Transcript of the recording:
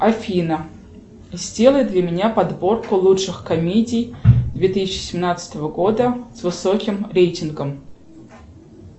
афина сделай для меня подборку лучших комедий две тысячи семнадцатого года с высоким рейтингом